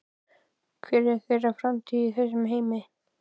Hver er þeirra framtíð í þessum heimi?